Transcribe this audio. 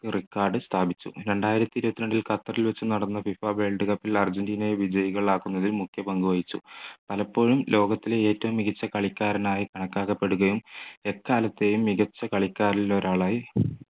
record സ്ഥാപിച്ചു രണ്ടായിരത്തി ഇരുപത്തിരണ്ടിൽ ഖത്തറിൽ വച്ച് നടന്ന FIFA world cup ൽ അർജൻറീന വിജയികൾ ആക്കുന്നത് മുഖ്യമന്ത്രി വഹിച്ചു പലപ്പോഴും ലോകത്തിലെ ഏറ്റവും മികച്ച കളിക്കാരനായി കണക്കാക്കപ്പെടുകയും എക്കാലത്തെയും മികച്ച കളിക്കാരിൽ ഒരാളായി